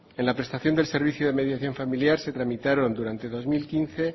en la prestación del servicio de mediación familiar se tramitaron durante el dos mil quince